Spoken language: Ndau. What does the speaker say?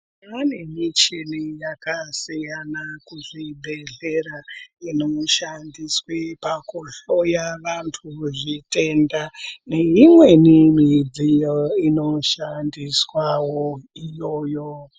Tava nemichina yakasiyana kuzvibhedhlera inoshandiswe pakuhloya vantu zvitenda nemimwewo midziyo inoshandiswe iyoyo.